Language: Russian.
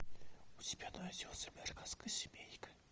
у тебя найдется американская семейка